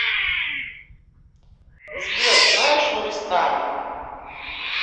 сбер знаешь нуристани